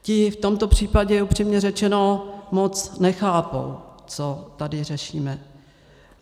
Ti v tomto případě, upřímně řečeno, moc nechápou, co tady řešíme.